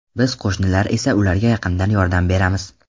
Biz qo‘shnilar esa ularga yaqindan yordam beramiz.